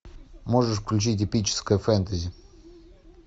можешь включить эпическое фэнтези